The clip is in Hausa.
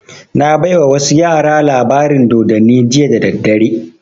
Na baiwa wasu yara labarin dodanni jiya da daddare